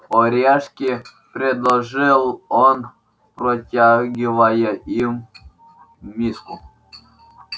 орешки предложил он протягивая им миску